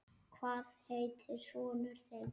Hvað heitir sonur þinn?